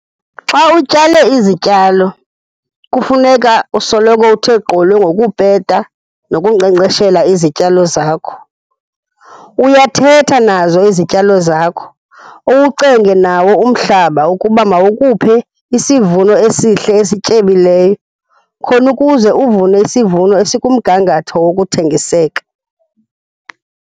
Xa utyale izityalo kufuneka usoloko uthe gqolo ngokupeta nokunkcenkceshela izityalo zakho. Uyathetha nazo izityalo zakho, uwucenge nawo umhlaba ukuba mawukuphe isivuno esihle esityebileyo khona ukuze uvune isivuno esikumgangatho wokuthengiseka.